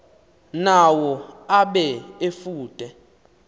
nawo abe efude